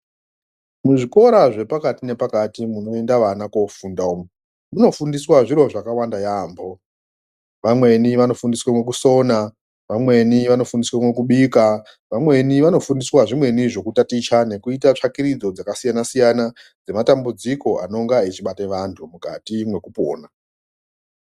Muzvikora zvepakati nepakati munoenda vana kofunda umwo munofundiswa zviro zvakawanda yambo. Vamweni vanofundiswe mukusona, vamweni vanofundiswe mukubika, vamweni vanofundiswa zvimweni zvekutaticha nekuita tsvakiridzo dzakasiyana siyana nematambudziko anonga echibate vantu mukati mwekupona.